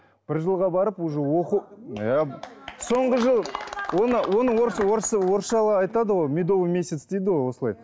бір жылға барып уже оқып соңғы жыл оны оны орысша айтады ғой медовый месяц дейді ғой осылай